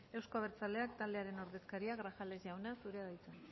euzko abertzaleak taldearen ordezkaria grajales jauna zurea da hitza